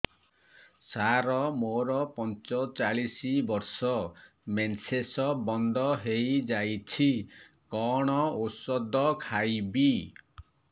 ସାର ମୋର ପଞ୍ଚଚାଳିଶି ବର୍ଷ ମେନ୍ସେସ ବନ୍ଦ ହେଇଯାଇଛି କଣ ଓଷଦ ଖାଇବି